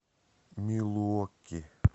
милуоки